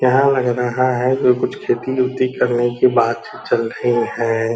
यहां लग रहा है कुछ खेती उती करने की बातें चल रही है।